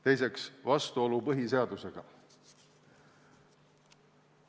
Teiseks on siin praegu vastuolu põhiseadusega.